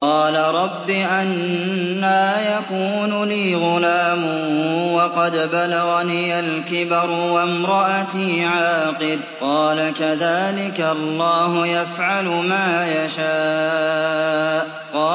قَالَ رَبِّ أَنَّىٰ يَكُونُ لِي غُلَامٌ وَقَدْ بَلَغَنِيَ الْكِبَرُ وَامْرَأَتِي عَاقِرٌ ۖ قَالَ كَذَٰلِكَ اللَّهُ يَفْعَلُ مَا يَشَاءُ